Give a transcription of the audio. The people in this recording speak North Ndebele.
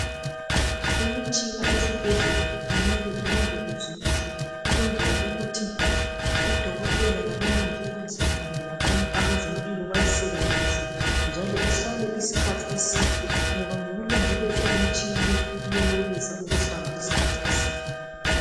Imitshina esibhedlela kumele ilondolozwe kuhle ukwenzela ukuthi odokotela labomongikazi kanye labanye abezempilo bayisebenzisi kuhle njalo ihlale isikhathi eside ngoba ngokulondoloza imitshina leyi iyenelisa ukuhlala isikhathi eside.